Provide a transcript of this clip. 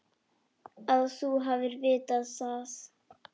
Að þú hafir vitað það.